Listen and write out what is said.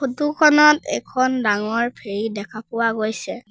Photo খনত এখন ডাঙৰ ফেৰী দেখা পোৱা গৈছে।